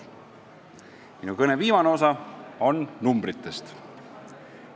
Minu kõne viimane osa räägib numbritest.